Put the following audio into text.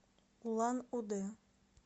улан удэ